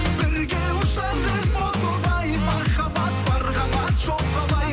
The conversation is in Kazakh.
бірге ұшар ем о тоба ай махаббат бар қанат жоқ қалай